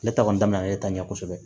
Ne ta kɔni daminɛna e ta ɲɛ kosɛbɛ